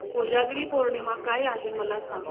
कोजागिरी पौर्णिमा काय आहे मला सांग